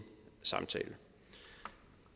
samtale